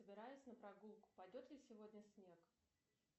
собираюсь на прогулку пойдет ли сегодня снег